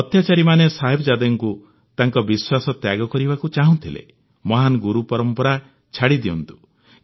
ଅତ୍ୟାଚାରୀମାନେ ଚାହୁଁଥିଲେ ସାହିବଜାଦେ ତାଙ୍କ ବିଶ୍ୱାସ ତ୍ୟାଗ କରନ୍ତୁ ମହାନ ଗୁରୁ ପରମ୍ପରା ଛାଡ଼ି ଦିଅନ୍ତୁ